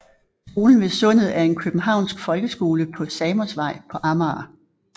Skolen ved Sundet er en københavnsk folkeskole på Samosvej på Amager